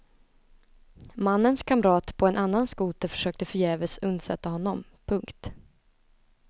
Mannens kamrat på en annan skoter försökte förgäves undsätta honom. punkt